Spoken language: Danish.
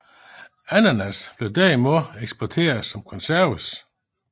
Ananas blev derimod eksporteret som konserves